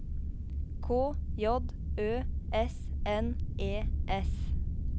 K J Ø S N E S